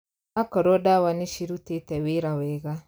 Akorwo ndawa nĩ cirutĩte wĩra wega